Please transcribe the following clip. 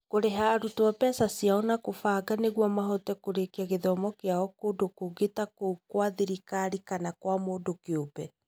Kũrĩha arutwo mbeca ciao na kũbanga nĩguo mahote kũrĩkia gĩthomo kĩao kũndũ kũngĩ ta kũu kwa thirikari kana gwa mũndũ kĩũmbe.